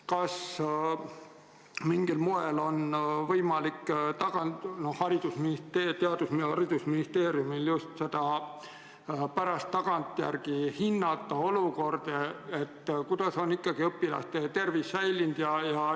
Kas Haridus- ja Teadusministeeriumil on mingil moel võimalik tagantjärele hinnata, kuidas on õpilaste tervis säilinud?